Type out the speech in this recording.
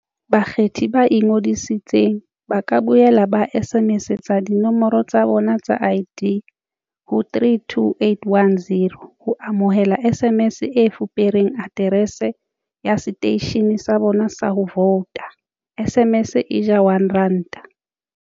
Bakgethi ba ingodisitseng ba ka boela ba SMS-etsa dinomoro tsa bona tsa ID ho 32810 ho amohela SMS e fupereng aterese ya seteishene sa bona sa ho vouta SMS e ja 1 ranta.